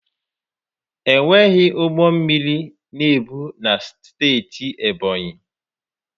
Enweghị ụgbọ mmiri na-ebu na steeti Ebọnyi.